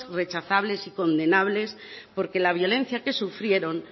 rechazables y condenables porque la violencia que sufrieron